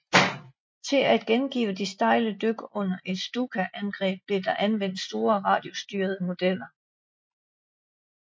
Til at gengive de stejle dyk under et Stuka angreb blev der anvendt store radiostyrende modeller